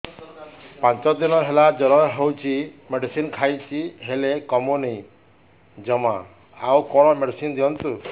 ପାଞ୍ଚ ଦିନ ହେଲା ଜର ହଉଛି ମେଡିସିନ ଖାଇଛି ହେଲେ କମୁନି ଜମା ଆଉ କଣ ମେଡ଼ିସିନ ଦିଅନ୍ତୁ